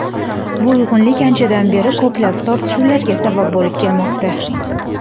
Bu uyg‘unlik anchadan beri ko‘plab tortishuvlarga sabab bo‘lib kelmoqda.